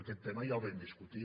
aquest tema ja el vam discutir